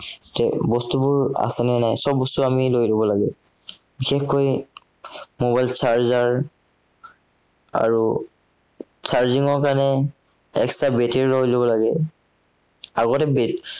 এৰ তাত বস্তুবোৰ আছেনে নাই, সৱ বস্তু আমি লৈ লব লাগে। বিশেষকৈ mobile charger । আৰু charging ৰ কাৰনে, extra battery লৈ লব লাগে। আগতে